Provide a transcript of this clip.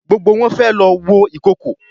Gbógbó wón fé ló wọ Ìkokò.